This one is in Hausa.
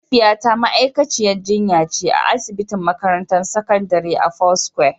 Mahaifiyata ma'aikaciyar jinya ce a asibitin makarantar sakandare ta foursquare.